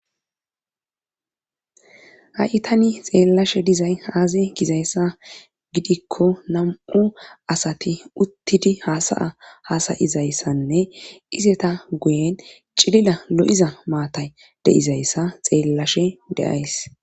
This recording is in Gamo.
Ha7i tani xeellashe dizay haaze gizayssa gidikko nam7u asati uttidi haasaya haasayizayssanne iseta guyen cilila lo7iza maatay deizayssa xeellashe de'ays.